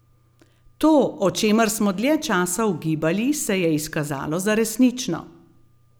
To, o čemer smo dlje časa ugibali, se je izkazalo za resnično.